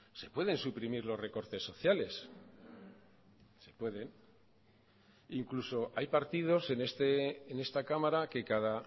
se pueden suprimir los recortes sociales se pueden incluso hay partidos en esta cámara que cada